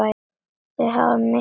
Þau hafa misst mikið.